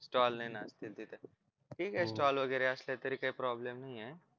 ठीके वगैरे असले तरी काही problem नाहीये